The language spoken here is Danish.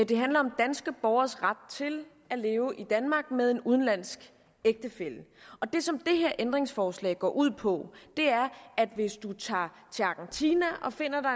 det handler om danske borgeres ret til at leve i danmark med en udenlandsk ægtefælle det som det her ændringsforslag går ud på er at hvis man tager til argentina og finder